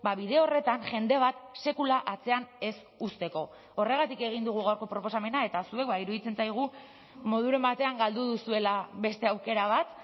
bide horretan jende bat sekula atzean ez uzteko horregatik egin dugu gaurko proposamena eta zuek iruditzen zaigu moduren batean galdu duzuela beste aukera bat